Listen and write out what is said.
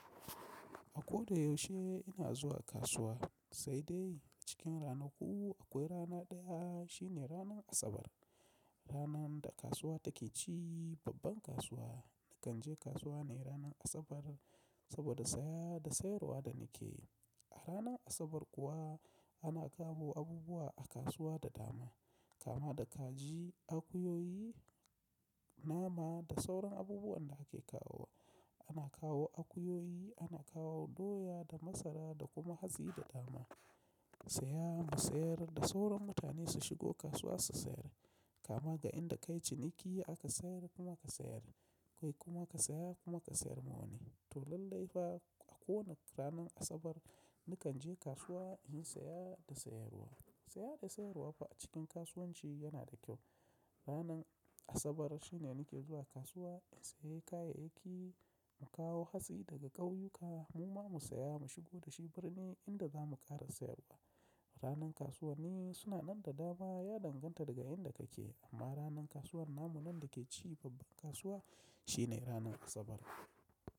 A ko da yaushe ina zuwa kasuwa, sai dai cikin ranaku akwai rana ɗaya shine ranar Asabar. Ranan da kasuwa take ci babban kasuwa, nakan je kasuwa ne ranar Asabar saboda saya da sayarwa da nikeyi. A ranar Asabar kuwa, ana kawo abubuwa a kasuwa da dama, kama da kaji, akuyoyi, nama da sauran abubuwan da ake kawowa. Ana kawo akuyoyi, ana kawo doya da masara da kuma hatsi da dama. Saya, mu sayar da sauran mutane su shigo kasuwa su sayar. Kama ga inda ka yi ciniki, aka sayar, kuma ka sayar. Kai kuma ka saya, kuma ka sayar ma wani. To lallai fa a kowanne ranan Asabar nakan je kasuwa inyi saya da sayarwa. Saya da sayarwa fa a cikin kasuwanci yana da kyau. Ranan Asabar shine nike zuwa kasuwa in sayi kayayyaki, mu kawo hatsi daga ƙauyuka, muma mu saya mu shigo da shi birni inda zamu ƙara sayarwa. Ranar kasuwanni suna nan da dama ya danganta daga inda kake, amma ranar kasuwar namu nan dake ci babban kasuwa shine ranar Asabar.